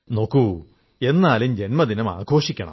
നോക്കൂ എന്നാലും ജന്മദിനം ആഘോഷിക്കാം